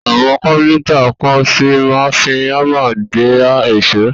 Àwọn Káfíntà kan ṣì máa ń fi hámà gba èṣó.